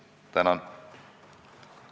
Tänan!